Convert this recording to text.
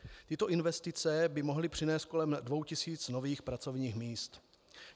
Tyto investice by mohly přinést kolem dvou tisíc nových pracovních míst.